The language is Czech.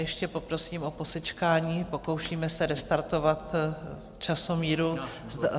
Ještě poprosím o posečkání, pokoušíme se restartovat časomíru.